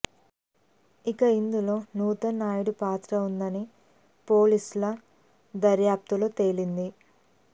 ఇక ఇందులో నూతన్ నాయుడు పాత్ర ఉందని పోలీసుల దర్యాప్తులో తేలింది